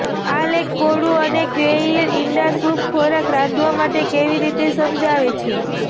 આ લેખ કોળું અને ક્વેઈલ ઇંડા સૂપ ખોરાક રાંધવા માટે કેવી રીતે સમજાવે છે